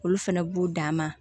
Olu fɛnɛ b'u dan ma